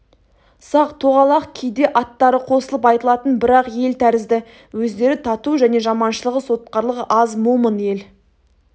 сақ-тоғалақ кейде аттары қосылып айтылатын бір-ақ ел тәрізді өздері тату және жаманшылығы сотқарлығы аз момын ел